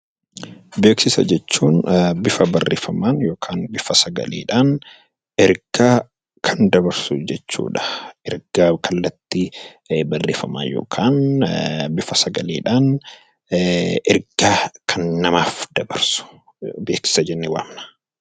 Beeksisa jechuun bifa barreeffamaan yookaan bifa sagalee dhaan ergaa kan dabarsu jechuu dha. Ergaa kallattii barreeffamaan yookaan bifa sagalee dhaan ergaa kan namaaf dabarsu 'Beeksisa' jennee waamna.